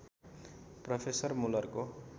professor मुलरको